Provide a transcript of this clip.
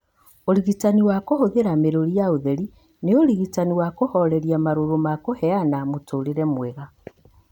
ũrigitani wa kũhũthĩra mĩrũri ya ũtheri nĩ ũrigitani wa kũhooreria marũrũ na kũheana mũtũũrĩre mwega.